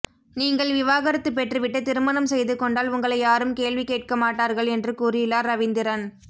நீங்கள் விவாகரத்து பெற்று விட்டு திருமணம் செய்து கொண்டால் உங்களை யாரும் கேள்வி கேட்க மாட்டார்கள் என்று கூறியுள்ளார் ரவீந்திரன்